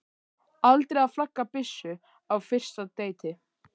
Aldrei að flagga byssu á fyrsta deiti.